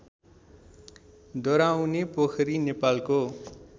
डराउनेपोखरी नेपालको